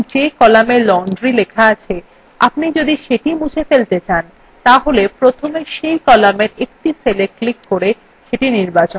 উদাহরণস্বরূপ যে column laundry লেখা আছে আপনি যদি সেটি মুছে ফেলতে চান তাহলে প্রথমে cell কলামের একটি cella ক্লিক করে সেটি নির্বাচন করুন